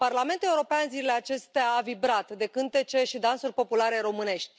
Parlamentul European, zilele acestea, a vibrat de cântece și dansuri populare românești.